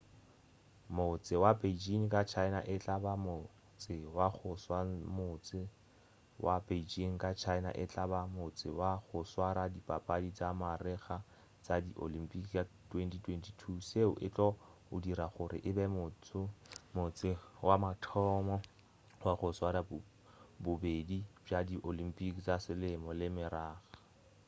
motse wa beijing ka china e tla ba motse wa go swamotse wa beijing ka china e tla ba motse wa go swara dipapadi tša marega tša di olympic ka 2022 seo e tlo o dira gore e be motse wa mathomo wa go swara bobedi bja di olympic tša selemo le marega